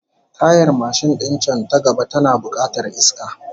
Tayar mashin din can ta gaba tana bukatar iska